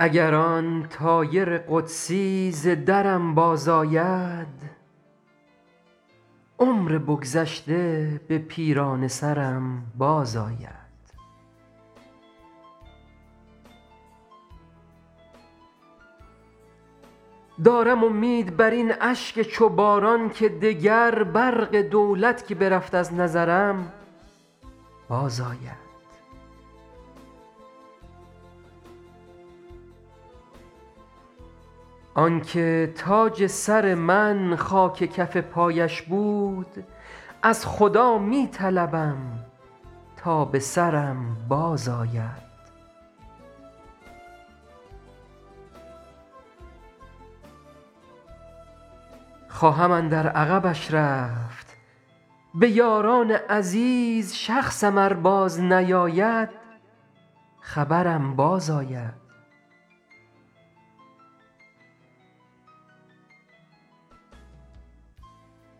اگر آن طایر قدسی ز درم بازآید عمر بگذشته به پیرانه سرم بازآید دارم امید بر این اشک چو باران که دگر برق دولت که برفت از نظرم بازآید آن که تاج سر من خاک کف پایش بود از خدا می طلبم تا به سرم بازآید خواهم اندر عقبش رفت به یاران عزیز شخصم ار بازنیاید خبرم بازآید